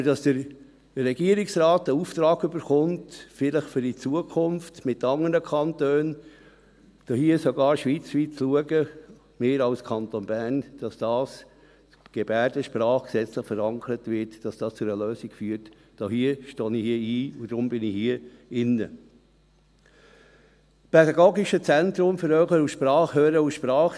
Aber dass der Regierungsrat einen Auftrag erhält, vielleicht, um in Zukunft zusammen mit anderen Kantonen, vielleicht sogar schweizweit, zu schauen – wir als Kanton Bern –, dass die Gebärdensprache gesetzlich verankert wird, dass es zu einer Lösung führt, dafür stehe ich ein, und deshalb bin ich hier im Saal.